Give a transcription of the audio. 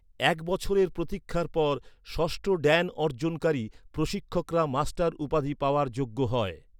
এক বছরের প্রতীক্ষার পর, ষষ্ঠ ড্যান অর্জনকারী প্রশিক্ষকরা মাস্টার উপাধি পাওয়ার যোগ্য হয়।